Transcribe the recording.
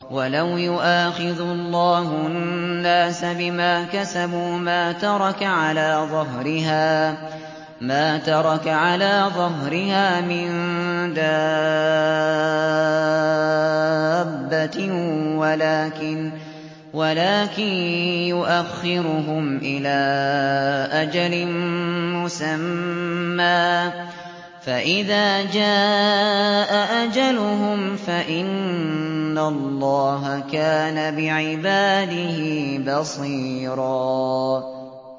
وَلَوْ يُؤَاخِذُ اللَّهُ النَّاسَ بِمَا كَسَبُوا مَا تَرَكَ عَلَىٰ ظَهْرِهَا مِن دَابَّةٍ وَلَٰكِن يُؤَخِّرُهُمْ إِلَىٰ أَجَلٍ مُّسَمًّى ۖ فَإِذَا جَاءَ أَجَلُهُمْ فَإِنَّ اللَّهَ كَانَ بِعِبَادِهِ بَصِيرًا